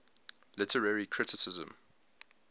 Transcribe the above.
literary criticism